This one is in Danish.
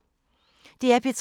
DR P3